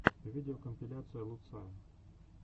видеокомпиляция луцая